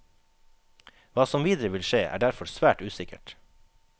Hva som videre vil skje, er derfor svært usikkert.